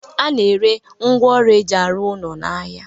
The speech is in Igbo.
A na-ere ngwaọrụ e ji arụ ụlọ n'ahịa